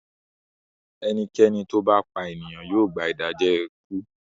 Ẹnikẹ́ni tó bá pa ènìyàn yóò gba Ìdẹ́jọ ikú.